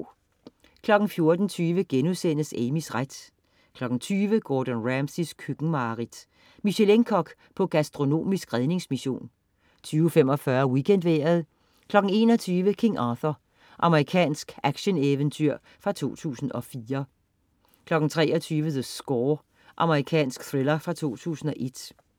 14.20 Amys ret* 20.00 Gordon Ramsays køkkenmareridt. Michelin-kok på gastronomisk redningsmission 20.45 WeekendVejret 21.00 King Arthur. Amerikansk actioneventyrfilm fra 2004 23.00 The Score. Amerikansk thriller fra 2001